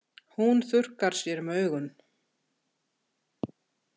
Hún þurrkar sér um augun.